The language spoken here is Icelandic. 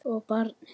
Og barnið.